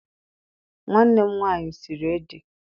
Nwanne m nwaanyị siri ede.